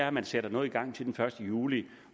at man sætter noget i gang til den første juli